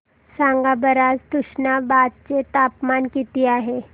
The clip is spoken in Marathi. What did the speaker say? सांगा बरं आज तुष्णाबाद चे तापमान किती आहे